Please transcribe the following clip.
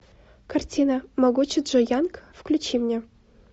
картина могучий джо янг включи мне